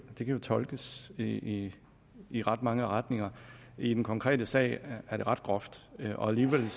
jo tolkes i i ret mange retninger i den konkrete sag er det ret groft og alligevel